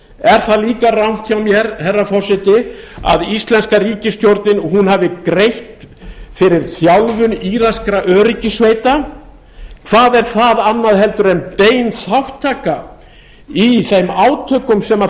er það líka rangt hjá mér herra forseti að íslenska ríkisstjórnin hafi greitt fyrir þjálfun írakskra öryggissveita hvað er það annað heldur en bein þátttaka í þeim átökum sem